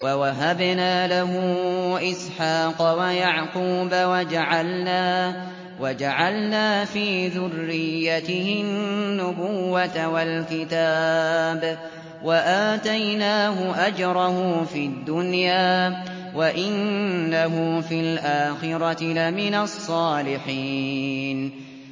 وَوَهَبْنَا لَهُ إِسْحَاقَ وَيَعْقُوبَ وَجَعَلْنَا فِي ذُرِّيَّتِهِ النُّبُوَّةَ وَالْكِتَابَ وَآتَيْنَاهُ أَجْرَهُ فِي الدُّنْيَا ۖ وَإِنَّهُ فِي الْآخِرَةِ لَمِنَ الصَّالِحِينَ